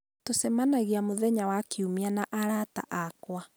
tũcemanagia mũthenya wa kiumia na arata akwa.